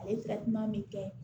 A ye min kɛ